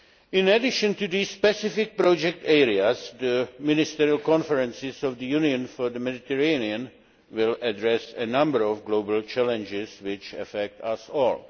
In addition to these specific project areas, the ministerial conferences of the Union for the Mediterranean will address a number of global challenges that affect us all.